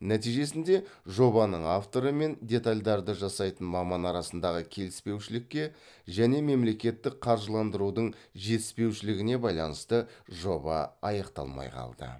нәтижесінде жобаның авторы мен детальдарды жасайтын маман арасындағы келіспеушілікке және мемлекеттік қаржыландырудың жетіспеушілігіне байланысты жоба аяқталмай қалды